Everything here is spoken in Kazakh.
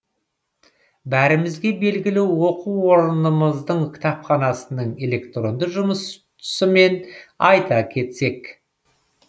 бәрімізге белгілі оқу орынымыздың кітапханасының электронды жұсысымен айта кетсек